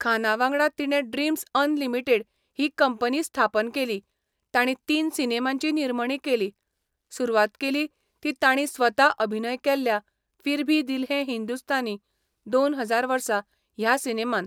खाना वांगडा तिणें ड्रीम्झ अनलिमिटेड ही कंपनी स्थापन केली, तांणी तीन सिनेमांची निर्मणी केली, सुरवात केली ती तांणी स्वता अभिनय केल्ल्या फिर भी दिल है हिंदुस्तानी, दोन हजार वर्सा ह्या सिनेमान.